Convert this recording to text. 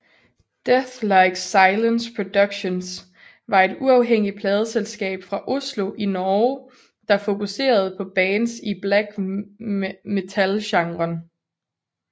Deathlike Silence Productions var et uafhængig pladeselskab fra Oslo i Norge der fokuserede på bands i black metalgenren